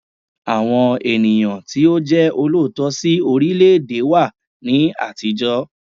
Àwọn ènìyàn tí ó jẹ́ olóòótọ́ sí orílẹ̀ẹ̀dè wà ní àtijọ́.